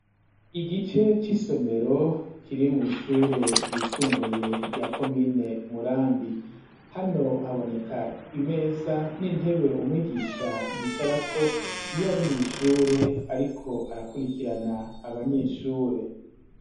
Igice cy'isomero ,kiri mw' ishure ry'isumbuye rya komine murambi ,hano haboneka imeza ,n'intebe umwigisha yicara ko, iyari mw' ishure ariko arakurikirana abanyeshure.